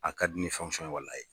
A ka di ni ye walahi ye